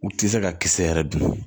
U ti se ka kisɛ yɛrɛ dun